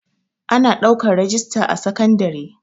Ana ɗaukan rajista a sekandare